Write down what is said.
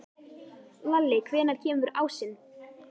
Lalli, hvenær kemur ásinn?